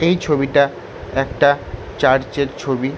এই ছবিটা একটা চার্চের ছবি।